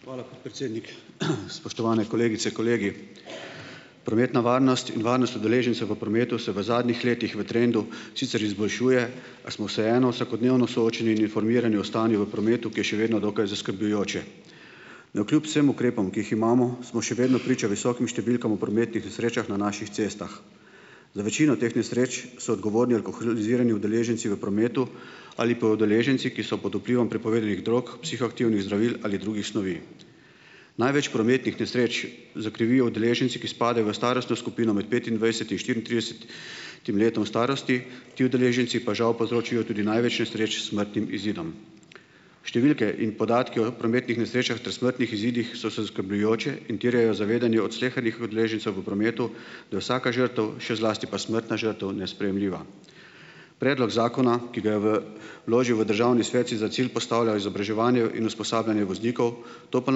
Hvala, podpredsednik. Spoštovani kolegice, kolegi! Prometna varnost in varnost udeležencev v prometu se v zadnjih letih v trendu sicer izboljšuje, a smo vseeno vsakodnevno soočeni in informirani o stanju v prometu, ki je še vedno dokaj zaskrbljujoče. Navkljub vsem ukrepom, ki jih imamo, smo še vedno priča visokim številkam v prometnih nesrečah na naših cestah. Za večino teh nesreč so odgovorni alkoholizirani udeleženci v prometu ali pa udeleženci, ki so pod vplivom prepovedanih drog, psihoaktivnih zdravil ali drugih snovi. Največ prometnih nesreč zakrivijo udeleženci, ki spadajo v starostno skupino med petindvajset in štiriintrideset im letom starosti, ti udeleženci pa žal povzročijo tudi največ nesreč s smrtnim izidom. Številke in podatki o prometnih nesrečah ter smrtnih izidih so se skrbljujoče in terjajo zavedanje od slehernih udeležencev v prometu, da je vsaka žrtev, še zlasti pa smrtna žrtev, nesprejemljiva. Predlog zakona, ki ga je v vložil v Državni svet, si za cilj postavlja izobraževanje in usposabljanje voznikov, to pa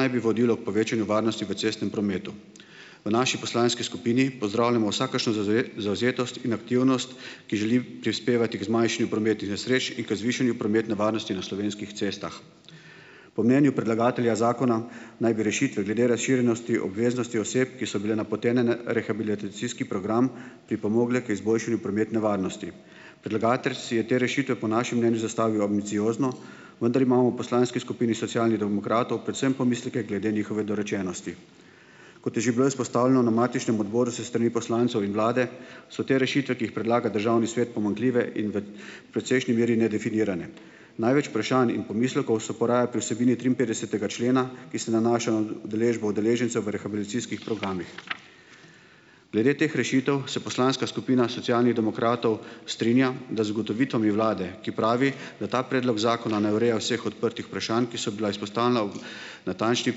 naj bi vodilo k povečanju varnosti v cestnem prometu. V naši poslanski skupini pozdravljamo vsakršno zavzetost in aktivnost, ki želi prispevati k zmanjšanju prometnih nesreč in k zvišanju prometne varnosti na slovenskih cestah. Po mnenju predlagatelja zakona naj bi rešitve glede razširjenosti obveznosti oseb, ki so bile napotene na rehabilitacijski program, pripomogle k izboljšanju prometne varnosti. Predlagatelj si je te rešitve po našem mnenju zastavil ambiciozno, vendar imamo v poslanski skupini Socialnih demokratov predvsem pomisleke glede njihove dorečenosti. Kot je že bilo izpostavljeno na matičnem odboru s strani poslancev in Vlade, so te rešitve, ki jih predlaga Državni svet, pomanjkljive in v precejšnji meri nedefinirane. Največ vprašanj in pomislekov se poraja pri vsebini triinpetdesetega člena, ki se nanaša na udeležbo udeležencev v rehabilitacijskih programih. Glede teh rešitev se poslanska skupina Socialnih demokratov strinja, da z ugotovitvami Vlade, ki pravi, da ta predlog zakona ne ureja vseh odprtih vprašanj, ki so bila izpostavljena v natančni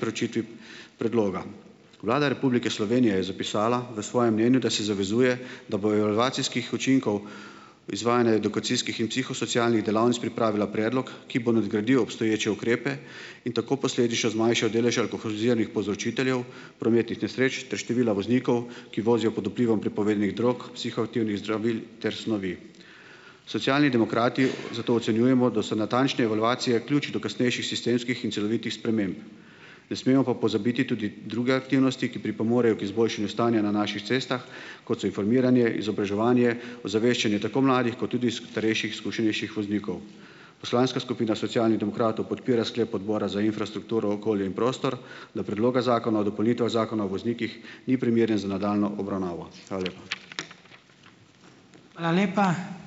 preučitvi predloga. Vlada Republike Slovenije je zapisala v svojem mnenju, da si zavezuje, da bojo relacijskih učinkov izvajanja edukacijskih in psihosocialnih delavnic pripravila predlog, ki bo nadgradil obstoječe ukrepe in tako posledi še zmanjšal delež alkoholiziranih povzročiteljev prometnih nesreč ter števila voznikov, ki vozijo pod vplivom prepovedanih drog, psihoaktivnih zdravil ter snovi. Socialni demokrati zato ocenjujemo, da so natančne evalvacije ključ do kasnejših sistemskih in celovitih sprememb. Ne smemo pa pozabiti tudi druge aktivnosti, ki pripomorejo k izboljšanju stanja na naših cestah, kot so informiranje, izobraževanje, ozaveščanje tako mladih kot tudi starejših izkušenejših voznikov. Poslanska skupina Socialnih demokratov podpira sklep Odbora za infrastrukturo, okolje in prostor, da Predloga zakona o dopolnitvah Zakona o voznikih ni primeren za nadaljnjo obravnavo. Hvala lepa.